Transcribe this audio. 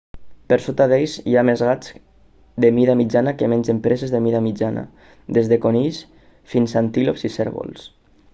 per sota d'ells hi ha més gats de mida mitjana que mengen preses de mida mitjana des de conills fins a antílops i cérvols